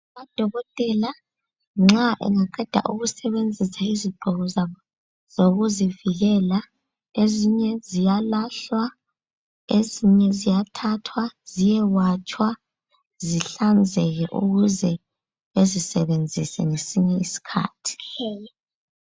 Odokotela nxa engaqeda ukusebenzisa izigqoko zabo zokuzivikela. Ezinye ziyalahlwa ezinye ziyathathwa ziyewatshwa zihlanzeke ukuze bezisebenzise ngesinye isikhathi.